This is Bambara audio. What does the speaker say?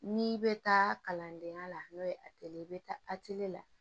N'i bɛ taa kalandenya la n'o ye ye i bɛ taa la